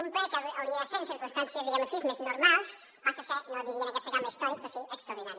un ple que hauria de ser en circumstàncies diguem ho així més normals passa a ser no diria en aquesta cambra històric però sí extraordinari